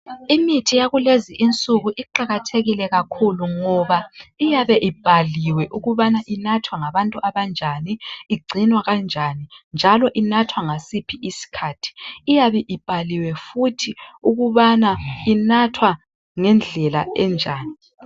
Imithi yakulezi insuku iqakathekile kakhulu ngoba .Iyabe ibhaliwe ukubana inathwa ngabantu abanjani igcinwa kanjani njalo inathwa ngasiphi isikhathi .Iyabe ibhaliwe futhi ukubana inathwa ngendlela enjani.